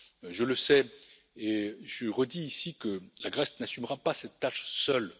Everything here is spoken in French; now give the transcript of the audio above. Je le sais et je redis ici que la Grèce n'assumera pas cette tâche seule.